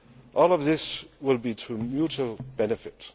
All of this will be of mutual benefit.